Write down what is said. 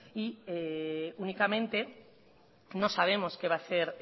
y únicamente no sabemos qué va a hacer